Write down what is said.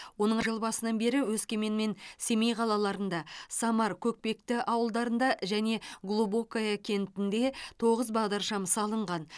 оның жыл басынан бері өскемен мен семей қалаларында самар көкпекті ауылдарында және глубокое кентінде тоғыз бағдаршам салынған